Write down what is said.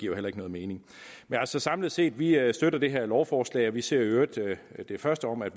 jo heller ikke nogen mening samlet set vil jeg sige at vi støtter det her lovforslag og vi ser i øvrigt det første om at